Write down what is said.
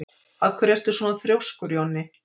Af hverju ertu svona þrjóskur, Jonni?